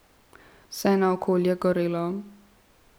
Vse naokoli je gorelo.